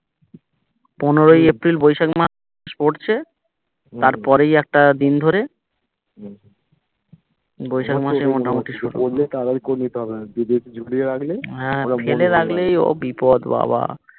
পনেরোই এপ্রিল বৈশাখ মাস পড়ছে তার পরেই একটা দিন ধরে বৈশাখ মাসে মোটামোটি করলে তাড়াতাড়ি করে নিতে হবে ঝুলিয়ে রাখলে হ্যা ফেলে রাখলেই ও বিপদ বাবা